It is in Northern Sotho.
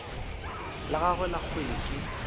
la gagwe la kgwele ke